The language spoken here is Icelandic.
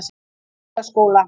Hólaskóla